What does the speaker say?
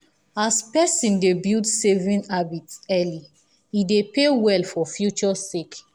as person dey build saving habit early e dey pay well for future sake